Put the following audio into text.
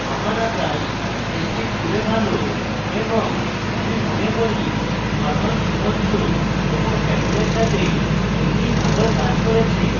আমার আকাশ নিশ্চিত রূপে ভালো এবং my মনে করি norman সমুদ্র এবং chapel সাথে একটি ভাল কাজ করেছে